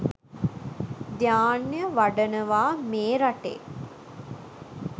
ධ්‍යාන වඩනවා මේ රටේ